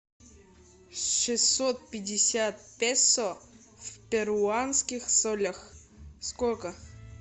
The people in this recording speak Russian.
шестьсот пятьдесят песо в перуанских солях сколько